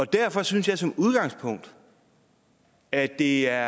derfor synes jeg som udgangspunkt at det er